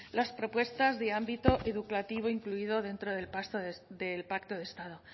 las propuestas de ámbito educativo incluido dentro del pacto de estado